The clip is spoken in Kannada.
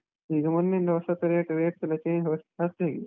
ಈಗ ಮೊನ್ನೆಯಿಂದ ಹೊಸತ್ತು rate, rates ಎಲ್ಲಾ ಸ್ವಲ್ಪ ಜಾಸ್ತಿ ಆಗಿದೆ.